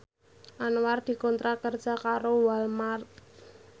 Anwar dikontrak kerja karo Walmart